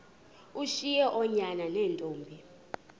ushiye oonyana neentombi